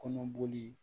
Kɔnɔboli